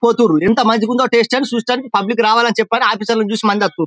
పోతుండ్రు ఎంత మంచిగా ఉందో టేస్ట్ అని చూస్తందుకు పబ్లిక్ రావాలని చెప్పి అని ఆఫీసర్లు చూసి మంది వత్తురు.